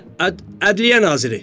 Ədliyyə naziri.